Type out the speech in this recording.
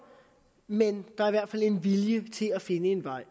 men der er i hvert fald en vilje til at finde en vej